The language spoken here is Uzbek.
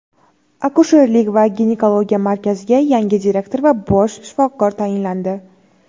Akusherlik va ginekologiya markaziga yangi direktor va bosh shifokor tayinlandi.